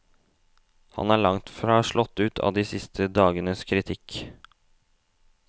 Han er langt fra slått ut av de siste dagenes kritikk.